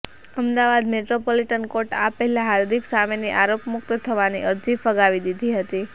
Ahmedabad metropolitan court આ પહેલા હાર્દિક સામેની આરોપમૂક્ત થવાની અરજી ફગાવી દીધી હતી